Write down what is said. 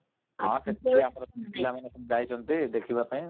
ପିଲାମାନେ ସବୁ ଯାଇଛନ୍ତି ଦେଖିବା ପାଇଁ ।